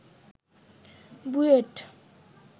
BUET